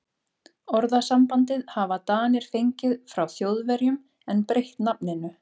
Orðasambandið hafa Danir fengið frá Þjóðverjum en breytt nafninu.